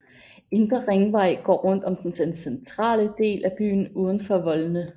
Indre Ringvej går rundt om den centrale del af byen uden for voldene